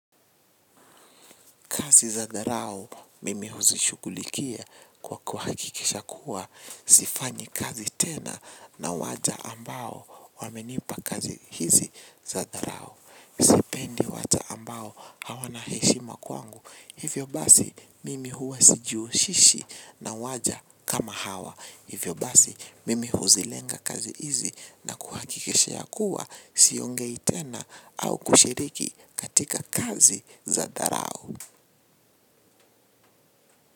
Kazi za dharau mimi huzishughulikia kwa kuhakikisha kuwa. Sifanyi kazi tena na waja ambao wamenipa kazi hizi za dharau. Sipendi watu ambao hawana heshima kwangu. Hivyo basi, mimi huwa sijihushishi na waja kama hawa. Hivyo basi, mimi huzilenga kazi hizi na kuhakikisha ya kuwa siongei tena au kushiriki katika kazi za dharau.